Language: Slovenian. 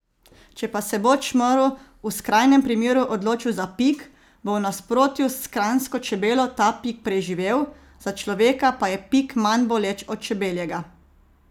Če pa se bo čmrlj v skrajnem primeru odločil za pik, bo v nasprotju s kranjsko čebelo ta pik preživel, za človeka pa je pik manj boleč od čebeljega.